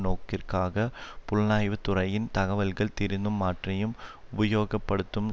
நோக்கிற்காக புலனாய்வுத்துறையின் தகவல்களை திரிந்தும் மாற்றியும் உபயோகப்படுத்தும்